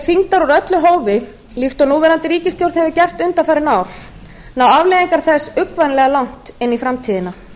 þyngdar úr öllu hófi líkt og núverandi ríkisstjórn hefur gert undanfarin ár ná afleiðingar þess uggvænlega langt í framtíðina